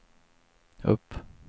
upp